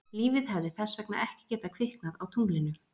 Lífið hefði þess vegna ekki getað kviknað á tunglinu.